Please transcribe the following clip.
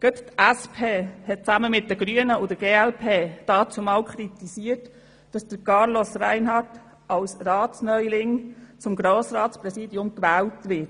Gerade die SP hat gemeinsam mit den Grünen und der glp damals kritisiert, dass Carlos Reinhard als Ratsneuling zum Grossratspräsidenten gewählt werde.